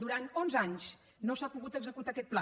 durant onze anys no s’ha pogut executar aquest pla